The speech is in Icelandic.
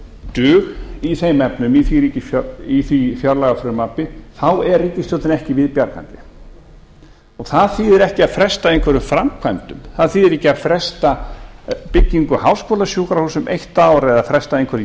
dug í þeim efnum í því fjárlagafrumvarpi þá er ríkisstjórninni ekki við bjargandi það þýðir ekkert að fresta einhverjum framkvæmdum það þýðir ekki að fresta byggingu háskólasjúkrahúss um eitt ár eða fresta einhverjum